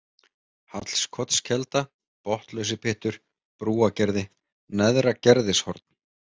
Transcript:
Hallskotskelda, Botnlausipyttur, Brúagerði, Neðra-Gerðishorn